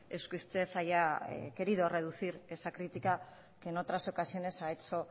es que usted haya querido reducir esa crítica que en otras ocasiones ha hecho